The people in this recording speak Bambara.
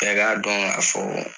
Bɛɛ k'a dɔn k'a fɔ